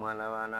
Kuma laban na